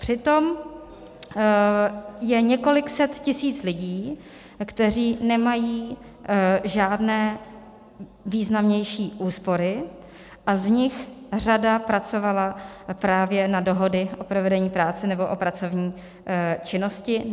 Přitom je několik set tisíc lidí, kteří nemají žádné významnější úspory, a z nich řada pracovala právě na dohody o provedení práce nebo o pracovní činnosti.